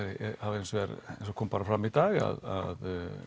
hafa hins vegar eins og kom fram í dag að